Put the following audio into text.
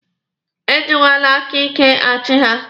E jikwele aka ike achi ha!